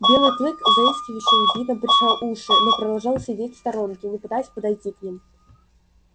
белый клык с заискивающим видом прижал уши но продолжал сидеть в сторонке не пытаясь подойти к ним